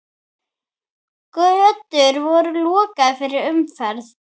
Götur voru lokaðar fyrir umferð.